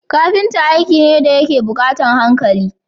Kafita aiki ne dayake bukatar hankali